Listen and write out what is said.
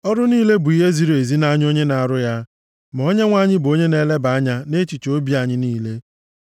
Ọrụ niile bụ ihe ziri ezi nʼanya onye na-arụ ya, ma Onyenwe anyị bụ onye na-eleba anya nʼechiche obi anyị niile.